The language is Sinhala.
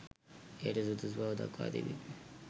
එයට සුදුසු බව දක්වා තිබේ.